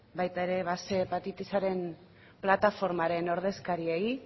baita ere ehun hepatitisaren plataformaren ordezkariei